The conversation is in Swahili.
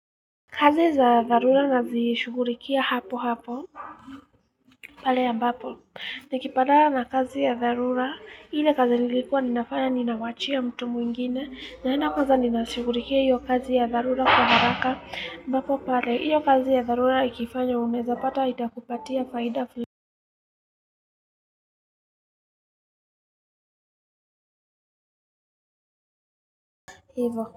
Kazi za dharura nazishughulikia hapo hapo pale ambapo nikipatana na kazi ya dharura ile kazi nilikuwa ninafanya ninawachia mtu mwingine naenda kwanza ninashughulikia hiyo kazi ya dharura kwa haraka ambapo pale hiyo kazi ya dharura ikifanywa uneza pata itakupatia faida fulani hivo.